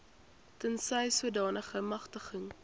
tensy sodanige magtiging